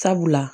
Sabula